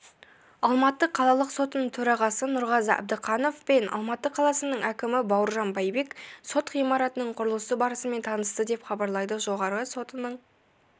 алматы қалалық сотының төрағасы нұрғазы әбдіқанов пен алматы қаласының әкімі бауыржан байбек сот ғимаратының құрылысы барысымен танысты деп хабарлайды жоғарғы сотының